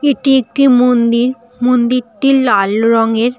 এটি একটি মন্দির মন্দিরটি লাল রঙের ।